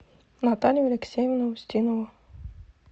наталью алексеевну устинову